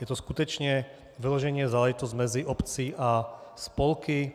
Je to skutečně vyloženě záležitost mezi obcí a spolky.